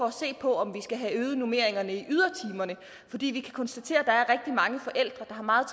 at se på om vi skal have øget normeringerne i ydertimerne fordi vi kan konstatere at mange forældre der har meget